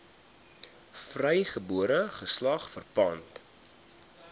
vrygebore geslag verpand